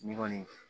Ni kɔni